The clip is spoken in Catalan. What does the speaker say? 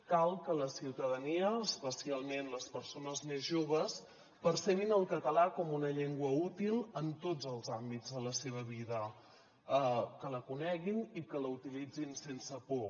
cal que la ciutadania especialment les persones més joves percebin el català com una llengua útil en tots els àmbits de la seva vida que la coneguin i que la utilitzin sense por